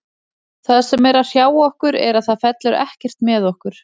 Það sem er að hrjá okkur er að það fellur ekkert með okkur.